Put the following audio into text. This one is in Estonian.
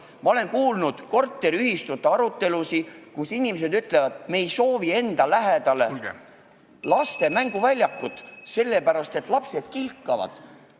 Ma olen kuulnud korteriühistute arutelusid, kus inimesed ütlevad, et nad ei soovi enda maja lähedale laste mänguväljakut, sest lapsed kilkavad.